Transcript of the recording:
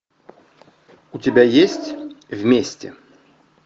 у тебя есть вместе